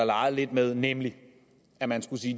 leget lidt med nemlig at man skulle sige